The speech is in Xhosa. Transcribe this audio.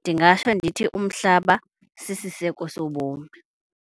Ndingatsho ndithi umhlaba sisiseko sobomi.